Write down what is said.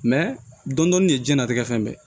dɔndɔni de diɲɛlatigɛ fɛn bɛɛ ye